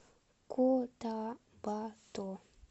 котабато